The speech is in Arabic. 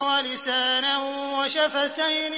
وَلِسَانًا وَشَفَتَيْنِ